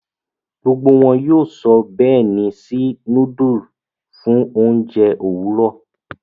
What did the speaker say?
Gbógbó wón yóò sọ béèni sí nudulu fún oúnjẹ Òwúrọ.